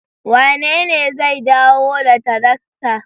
Wanene zai dawo da tarakta?